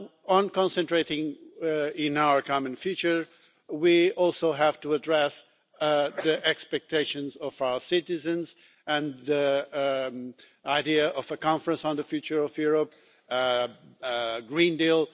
In concentrating on our common future, we also have to address the expectations of our citizens, the idea of a conference on the future of Europe, and the Green Deal.